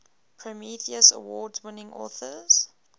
prometheus award winning authors